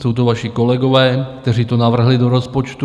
Jsou to vaši kolegové, kteří to navrhli do rozpočtu.